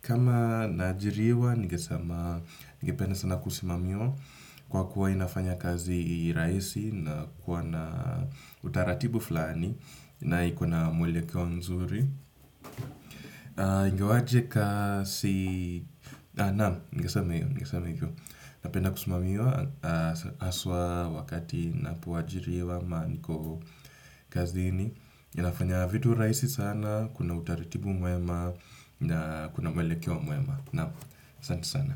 Kama na ajiriwa, ningesema ningependa sana kusimamiwa kwa kuwa inafanya kazi rahisi na kuwa na utaratibu fulani na ikona mwelekeo mzuri ingewaje kasi naam ningesema hivyo napenda kusimamiwa haswa wakati napo ajiriwa ama niko kazini inafanya vitu rahisi sana kuna utaratibu mwema na kuna mwelekeo mwema nao, asante sana.